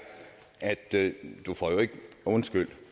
at